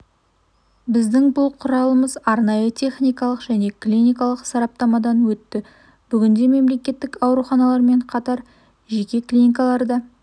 біздің бұл құралымыз арнайы техникалық және клиникалық сараптамадан өтті бүгінде мемлекеттік ауруханалармен қатар жеке клиникалар да